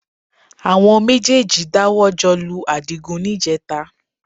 Àwọn méjèèjì dáwọ́ jọ lu Àdìgún níjẹẹta